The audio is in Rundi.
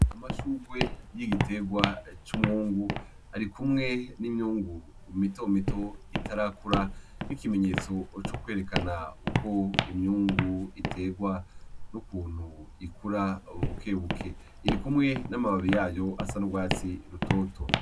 Amashugwe y'igitegwa c'umwungu, arikumwe n'imyungu mitomito itarakura, nk'ikimenyetso co kwerekana uko imyungu itegwa n'ukuntu ikura bukebuke. Irikumwe n'amababi yayo asa n'ugwatsi rutoto.